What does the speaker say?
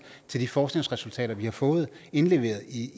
til de forskningsresultater vi har fået indleveret i